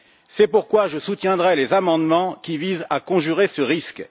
C'est pourquoi je soutiendrai les amendements qui visent à conjurer ce risque.